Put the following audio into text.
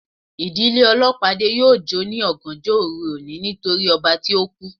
Ìdílé olopade yóò jo ni ọgànjọ oru oni nítorí ọba tí oku